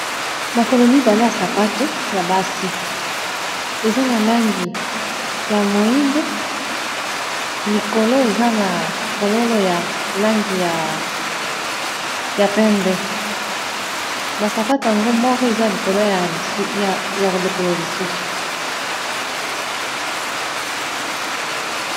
makolo mibale ya sapato ya basi eza na langi ya moindo likolo eza na fololo ya langi ya pembe basapato yango moko eza likolo ya lokolo lisusu